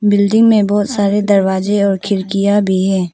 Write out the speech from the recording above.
Building में बहुत सारे दरवाजे और खिड़कियां भी है।